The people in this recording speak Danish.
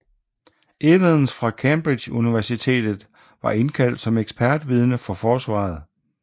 Evans fra Cambridge Universitet var indkaldt som ekspertvidne for forsvaret